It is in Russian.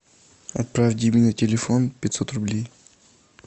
отправь диме на телефон пятьсот рублей